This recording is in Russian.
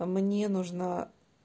мне нужна